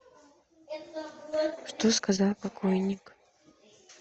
что сказал покойник